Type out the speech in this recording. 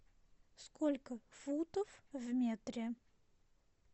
сколько футов в метре